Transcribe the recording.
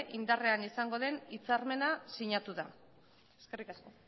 indarrean izango den hitzarmena sinatu da eskerrik asko